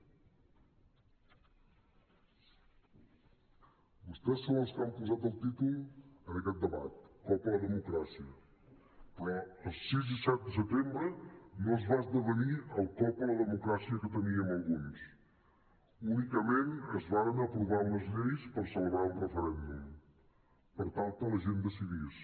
vostès són els que han posat el títol en aquest debat cop a la democràcia però el sis i set de setembre no es va esdevenir el cop a la democràcia que temíem alguns únicament es varen aprovar unes lleis per celebrar un referèndum per tal que la gent decidís